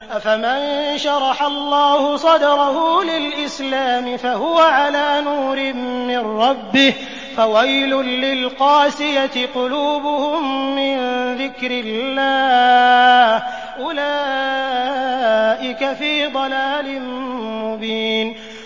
أَفَمَن شَرَحَ اللَّهُ صَدْرَهُ لِلْإِسْلَامِ فَهُوَ عَلَىٰ نُورٍ مِّن رَّبِّهِ ۚ فَوَيْلٌ لِّلْقَاسِيَةِ قُلُوبُهُم مِّن ذِكْرِ اللَّهِ ۚ أُولَٰئِكَ فِي ضَلَالٍ مُّبِينٍ